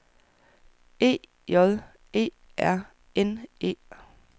E J E R N E